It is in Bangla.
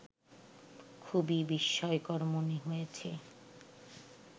খুবই বিস্ময়কর মনে হয়েছে